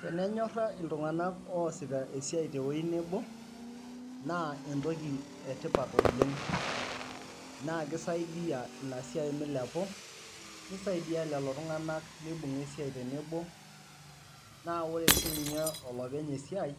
Tenenyora ltunganak oosita esiai tewueji nebo, naa entoki etipat oleng ,naa kisaidia inasiai meilepu ,neisaidia lolo tunganak meibunga esiai tenebo ,na ore sininye olopeny esiai